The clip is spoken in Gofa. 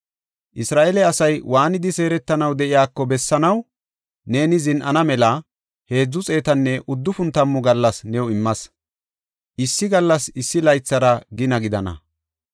Isra7eele asay waanidi seeretanaw de7iyako bessanaw neeni zin7ana mela heedzu xeetanne uddufun tammu gallas new immas; issi gallasi issi laythara gina gidana.